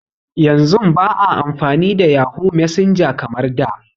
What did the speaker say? Yanzun ba a amfani da yahoo messenger kamar da